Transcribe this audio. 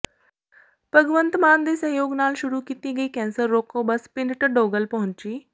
ਭਗਵੰਤ ਮਾਨ ਦੇ ਸਹਿਯੋਗ ਨਾਲ ਸ਼ੁਰੂ ਕੀਤੀ ਗਈ ਕੈਂਸਰ ਰੋਕੋ ਬੱਸ ਪਿੰਡ ਢਢੋਗਲ ਪਹੁੰਚੀ